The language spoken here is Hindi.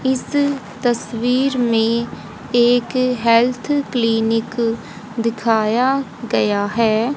इस तस्वीर में एक हेल्थ क्लिनिक दिखाया गया है।